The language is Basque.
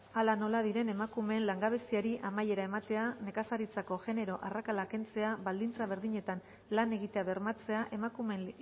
hala nola diren emakumeen langabeziari amaiera ematea nekazaritzako genero arrakala kentzea baldintza berdinetan lan egitea bermatzea emakumeen